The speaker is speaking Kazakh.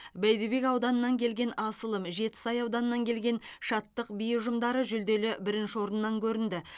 бәйдібек ауданынан келген асылым жетісай ауданынан келген шаттық би ұжымдары жүлделі бірінші орыннан көрінді